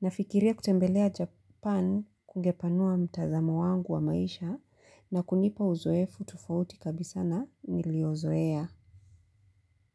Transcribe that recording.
Nafikiria kutembelea Japan kungepanua mtazamo wangu wa maisha na kunipa uzoefu tofauti kabisa na niliozoea.